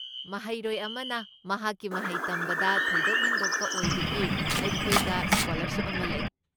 ꯃꯍꯩꯔꯣꯏ ꯑꯃꯅ ꯃꯍꯥꯛꯀꯤ ꯃꯍꯩ ꯇꯝꯕꯗ ꯊꯣꯏꯗꯣꯛ ꯍꯦꯟꯗꯣꯛꯄ ꯑꯣꯏꯕꯒꯤ ꯑꯩꯈꯣꯏꯗ ꯁ꯭ꯀꯣꯂꯔꯁꯤꯞ ꯑꯃ ꯂꯩ꯫